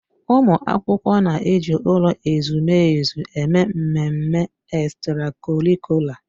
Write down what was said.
Ụmụ akwụkwọ na-eji ụlọ ezumezu eme mmemme ekstrakọrịkula